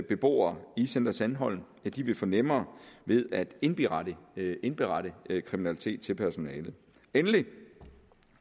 beboere i center sandholm vil få nemmere ved at indberette indberette kriminalitet til personalet